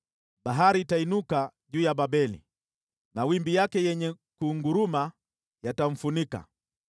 Bahari itainuka juu ya Babeli; mawimbi yake yenye kunguruma yatamfunika.